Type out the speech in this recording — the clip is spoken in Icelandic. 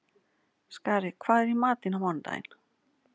Skari, hvað er í matinn á mánudaginn?